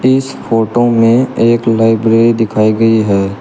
इस फोटो में एक लाइब्रेरी दिखाई गई है।